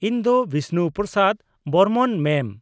-ᱤᱧ ᱫᱚ ᱵᱤᱥᱱᱩ ᱯᱨᱚᱥᱟᱫ ᱵᱚᱨᱢᱚᱱ, ᱢᱮᱢ ᱾